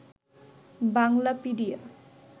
Banglapedia